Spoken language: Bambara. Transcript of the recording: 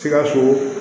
Sikaso